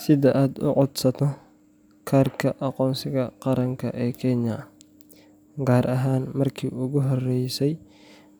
Si aad u codsato kaarka aqoonsiga qaranka ee Kenya, gaar ahaan markii ugu horreysay